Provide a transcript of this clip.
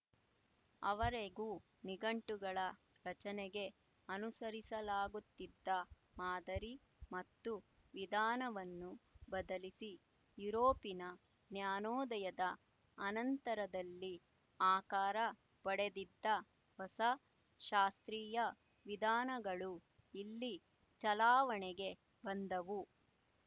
ಆವರೆಗೂ ನಿಘಂಟುಗಳ ರಚನೆಗೆ ಅನುಸರಿಸಲಾಗುತ್ತಿದ್ದ ಮಾದರಿ ಮತ್ತು ವಿಧಾನವನ್ನು ಬದಲಿಸಿ ಯುರೋಪಿನ ಜ್ಞಾನೋದಯದ ಅನಂತರದಲ್ಲಿ ಆಕಾರ ಪಡೆದಿದ್ದ ಹೊಸ ಶಾಸ್ತ್ರೀಯ ವಿಧಾನಗಳು ಇಲ್ಲಿ ಚಲಾವಣೆಗೆ ಬಂದವು